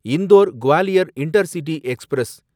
Indore Gwalior intercity express